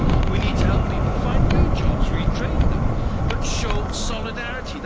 We need to help people find new jobs, retrain them but show solidarity.